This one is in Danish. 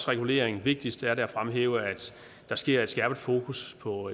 reguleringen og vigtigst er det at fremhæve at der sker et skærpet fokus på